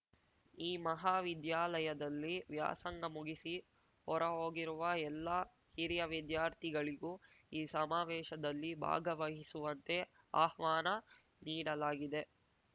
ಈ ಮಹಾವಿದ್ಯಾಲಯದಲ್ಲಿ ವ್ಯಾಸಂಗ ಮುಗಿಸಿ ಹೊರಹೋಗಿರುವ ಎಲ್ಲಾ ಹಿರಿಯ ವಿದ್ಯಾರ್ಥಿ ಗಳಿಗೂ ಈ ಸಮಾವೇಶದಲ್ಲಿ ಭಾಗವಹಿಸುವಂತೆ ಆಹ್ವಾನ ನೀಡಲಾಗಿದೆ